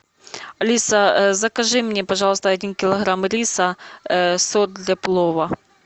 алиса закажи мне пожалуйста один килограмма риса сок для плова